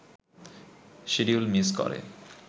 schedule miss করে